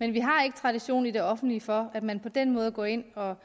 men vi har ikke tradition i det offentlige for at man på den måde går ind og